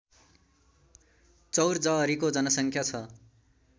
चौरजहरीको जनसङ्ख्या छ